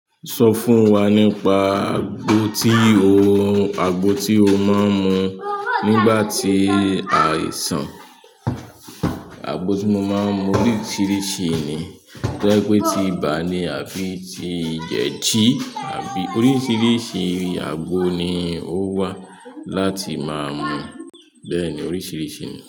Sọ fún wa nípa àgbo tí o, àgbo tí o máa ń mu nígbà tí àìsàn. Àgbo tí mo máa ń mu oríṣiríṣi ni. Tó jẹ pé ti ibà ni àbí ti jẹdi àbí, oríṣiríṣi àgbo ni o wà láti máa mu. Bẹ́ẹ̀ ni oríṣiríṣi ni.